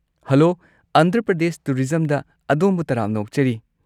Hello, Andhra Pradesh ꯇꯨꯔꯤꯖꯝꯗ ꯑꯗꯣꯝꯕꯨ ꯇꯔꯥꯝꯅ ꯑꯣꯛꯆꯔꯤ꯫